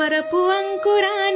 हे वीर नरसिंह